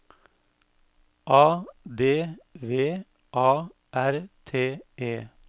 A D V A R T E